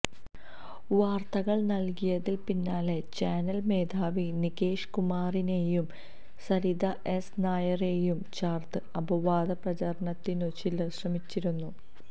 വാര്ത്തകള് നല്കിയതിന് പിന്നാലെ ചാനല് മേധാവി നികേഷ് കുമാറിനേയും സരിത എസ് നായരേയും ചേര്ത്ത് അപവാദ പ്രചരണത്തിനും ചിലര് ശ്രമിച്ചിരുന്നു